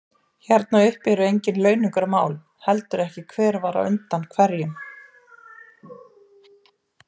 Hérna uppi eru engin launungarmál, heldur ekki hver var undan hverjum.